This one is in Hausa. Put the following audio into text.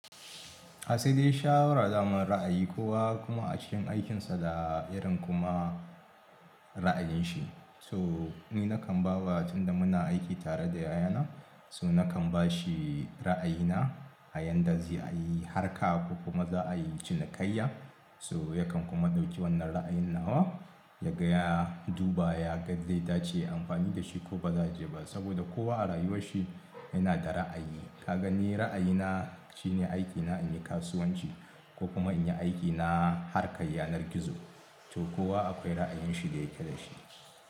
Asali shawara daman ra'ayi kowa kuma a cikin aikinsa da irin kuma ra'ayin shi. So ni nakan ba wa tun da muna aiki tare da yayana so nakan bashi ra'ayina a yadda zai a yi harka ko kuma za'a yi cinikayya. So yakan kuma ɗauki wannan ra'ayin nawa ya ga ya, duba, ya gaa zai dace ya amfani da shi ko ba za je ba. Saboda kowa a rayuwar shi yana da ra'ayi. Ka ga ni ra'ayi na shine aikina in yi kasuwanci ko kuma in yi aiki na harkar yanar gizo. To kowa akwai ra'ayin shi da yake da shi.